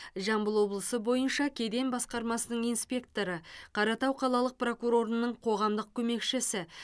жамбыл облысы бойынша кеден басқармасының инспекторы қаратау қалалық прокурорының қоғамдық көмекшісі